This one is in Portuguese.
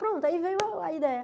Pronto, aí veio a a ideia.